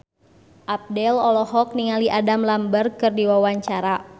Abdel olohok ningali Adam Lambert keur diwawancara